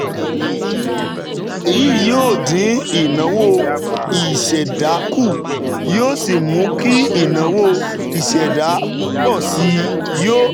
Èyí yóò dín ìnáwó ìṣẹ̀dá kù, yóò sì mú kí ìnáwó ìṣẹ̀dá pọ̀ sí i, yóò